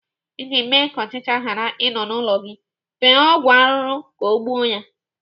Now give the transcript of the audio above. Iji mee ka ọchịcha ghara ị nọ n'ụlọ gị, fee ọgwụ arụrụ ka ọ gbuo ya.